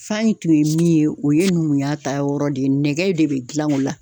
Fan in tun ye min ye o ye numuya ta yɔrɔ de ye nɛgɛ de be gilan o la